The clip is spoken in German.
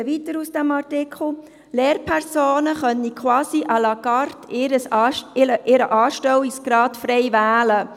Im Artikel steht weiter, Lehrpersonen könnten quasi à la carte ihren Anstellungsgrad frei wählen.